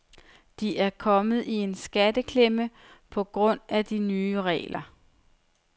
De er kommet i en skatteklemme på grund af de nye regler.